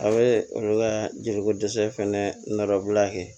A bɛ olu ka jeliko dɛsɛ fana nɔbila kɛ